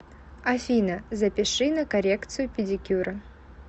афина запиши на коррекцию педикюра